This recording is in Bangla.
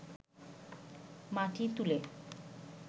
মাটি তুলে